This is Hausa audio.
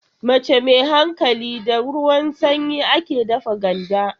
Mace mai hankali, da ruwan sanyi take dafa ganda.